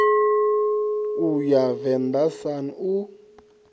u ya venḓa sun u